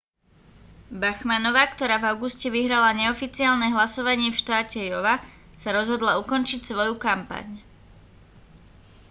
bachmannová ktorá v auguste vyhrala neoficiálne hlasovanie v štáte iowa sa rozhodla ukončiť svoju kampaň